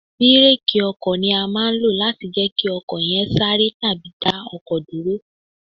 Bireeki ọkọ̀ ni a máa ń lo láti jẹ́ kí ọkọ̀ yè ẹ sáre tàbí dá ọkọ̀ dúró.